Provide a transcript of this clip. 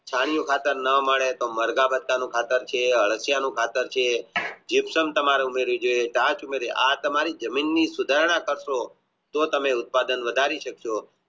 છાણ નું ખાતર ના મળે તો મરઘાં પાત્ર નું ખાતર છે અળસિયા નું ખાતર છે આ તમારે જમીનની સુધરા તત્વો જો તમે ઉત્પાદન વધારી શકશો